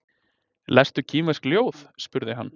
Lestu kínversk ljóð? spurði hann.